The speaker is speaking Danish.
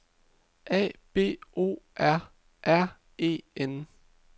A B O R R E N